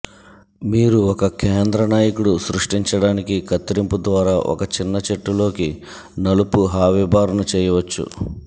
మీరు ఒక కేంద్ర నాయకుడు సృష్టించడానికి కత్తిరింపు ద్వారా ఒక చిన్న చెట్టు లోకి నలుపు హా విబార్న్ చేయవచ్చు